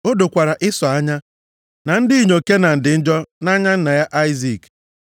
O dokwara Ịsọ anya na ndị inyom Kenan dị njọ nʼanya nna ya Aịzik.